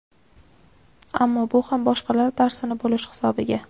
Ammo bu ham boshqalar darsini bo‘lish hisobiga.